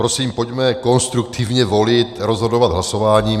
Prosím, pojďme konstruktivně volit, rozhodovat hlasováním.